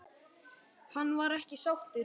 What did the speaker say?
Hann var ekki sáttur.